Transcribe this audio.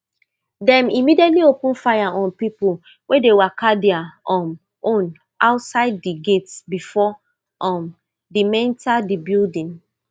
dem immediately open fire on pipo wey dey waka dia um own outside di gates before um de menta di building